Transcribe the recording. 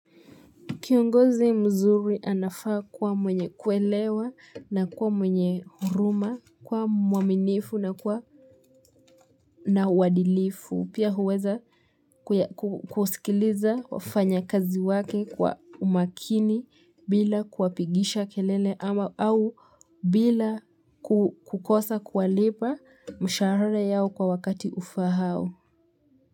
Kiongozi mzuri anafaa kuwa mwenye kuelewa na kuwa mwenye huruma, kuwa mwaminifu na kuwa na uadilifu. Pia huweza kusikiliza wafanya kazi wake kwa umakini bila kuwapigisha kelele ama au bila kukosa kuwalipa mishahara yao kwa wakati ufahao.